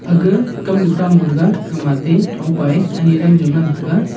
akgah kamnu kha morega kamatey thongpa e ani aram jaw ngan taiga.